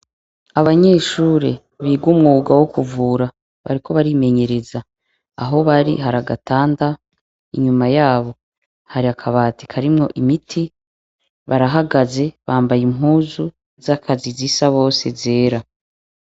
Abanyeshure biga umwuga wo kuvura bariko barimenyereza. Aho bari hari agatanda inyuma yabo hari akabati karimwo imiti barahagaze bambaye impuzu z'akazi zisa bose zera.